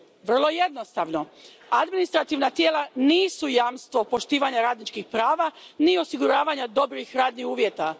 Vrlo jednostavno administrativna tijela nisu jamstvo poštivanja radničkih prava ni osiguravanja dobrih radnih uvjeta.